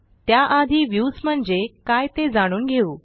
त्याआधी व्ह्यूज म्हणजे काय ते जाणून घेऊ